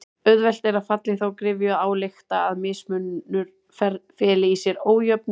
Auðvelt er að falla í þá gryfju að álykta að mismunur feli í sér ójöfnuð.